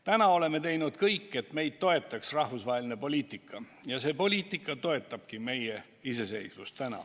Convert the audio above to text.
Praegu oleme teinud kõik, et meid toetaks rahvusvaheline poliitika, ja see poliitika toetabki meie iseseisvust.